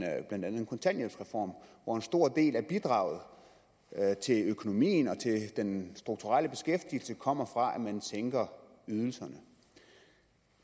blandt andet en kontanthjælpsreform hvor en stor del af bidraget til økonomien og til den strukturelle beskæftigelse kommer fra at man sænker ydelserne